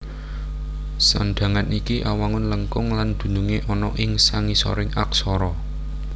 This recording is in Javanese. Sandhangan iki awangun lengkung lan dunungé ana ing sangisoring aksara